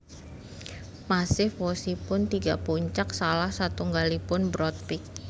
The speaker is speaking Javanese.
Massif wosipun tiga puncak salah satunggalipun Broad Peak